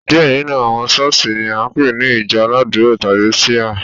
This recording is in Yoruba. Diẹ nínú àwọn ṣọ̀ọ́sì ni a npe ni ìjọ aládùra tàbi Shia.